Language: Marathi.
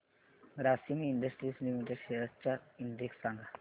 ग्रासिम इंडस्ट्रीज लिमिटेड शेअर्स चा इंडेक्स सांगा